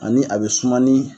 Ani a bɛ suma ni